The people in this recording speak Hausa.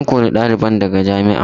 An kori ɗalibin daga jami'ar.